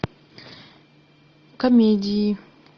комедии